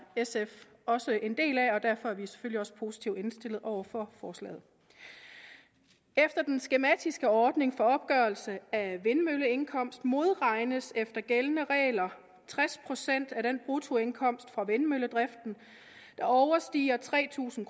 sf også en del af og derfor er vi selvfølgelig også positivt indstillet over for forslaget efter den skematiske ordning for opgørelse af vindmølleindkomst modregnes efter gældende regler tres procent af den bruttoindkomst fra vindmølledrift der overstiger tre tusind